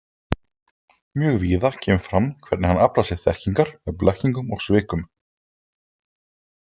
Mjög víða kemur fram hvernig hann aflar sér þekkingar með blekkingum og svikum.